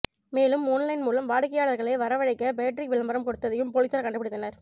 மேலும் ஓன்லைன் மூலம் வாடிக்கையாளர்களை வரவழைக்க பேட்ரிக் விளம்பரம் கொடுத்ததையும் பொலிசார் கண்டுப்பிடித்தனர்